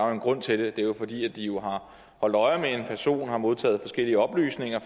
jo en grund til det det er jo fordi de har holdt øje med en person og har modtaget forskellige oplysninger